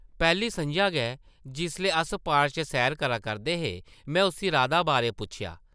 पैह्ली सʼञां गै जिसलै अस पार्क च सैर करा करदे हे, में उस्सी राधा बारै पुच्छेआ ।